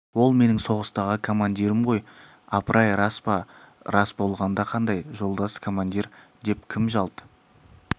ол менің соғыстағы командирім ғой апырай рас па рас болғанда қандай жолдас командир деп кім жалт